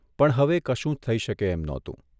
પણ હવે કશું જ થઇ શકે એમ નહોતું.